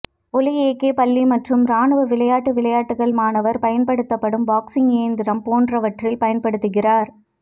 ஒலி ஏகே பள்ளி மற்றும் இராணுவ விளையாட்டு விளையாட்டுகள் மாணவர் பயன்படுத்தப்படும் பார்ஸிங் இயந்திரம் போன்றவற்றில் பயன்படுத்துகிறார்